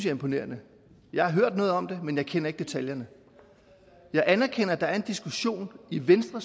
imponerende jeg har hørt noget om det men jeg kender ikke detaljerne jeg anerkender at der er en diskussion i venstre